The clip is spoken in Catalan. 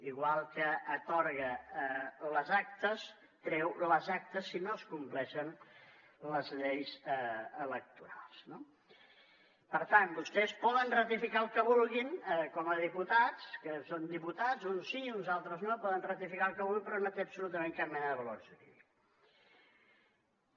igual que atorga les actes treu les actes si no es compleixen les lleis electorals no per tant vostès poden ratificar el que vulguin com a diputats que són diputats uns sí o uns altres no poden ratificar el que vulguin però no té absolutament cap mena de valor jurídic